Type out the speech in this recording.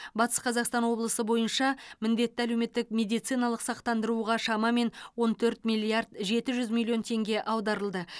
батыс қазақстан облысы бойынша міндетті әлеуметтік медициналық сақтандыруға шамамен он төрт миллиард жеті жүз миллион теңге аударылды